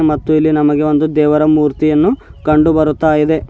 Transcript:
ಮತ್ತು ಇಲ್ಲಿ ನಮಗೆ ಒಂದು ದೇವರ ಮೂರ್ತಿಯನ್ನು ಕಂಡು ಬರುತ್ತ ಇದೆ.